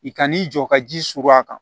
I kan n'i jɔ ka ji surun a kan